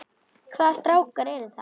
Hvaða strákar eru það?